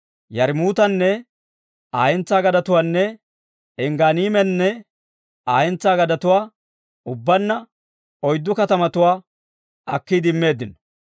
Yarmmuutanne Aa hentsaa gadetuwaanne Engganiimanne Aa hentsaa gadetuwaa, ubbaanna oyddu katamatuwaa akkiide immeeddino.